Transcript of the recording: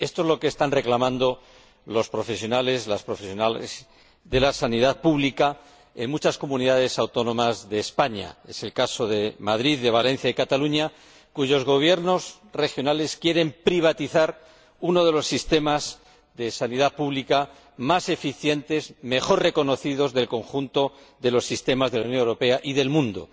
Esto es lo que están reclamando los profesionales y las profesionales de la sanidad pública en muchas comunidades autónomas de España es el caso de Madrid, Valencia y Cataluña, cuyos Gobiernos regionales quieren privatizar uno de los sistemas de sanidad pública más eficientes y más reconocidos del conjunto de los sistemas de la Unión Europea y del mundo.